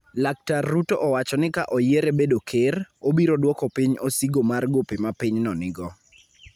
Laktar Ruto owacho ni ka oyiere bedo Ker, obiro dwoko piny osigo mar gope ma pinyno nigo.